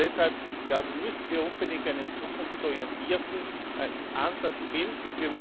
Und deshalb müssen wir unbedingt einen zukunftsorientierten Ansatz finden.